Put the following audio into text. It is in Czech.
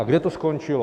A kde to skončilo?